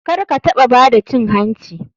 Karkataɓa bada cin hanci.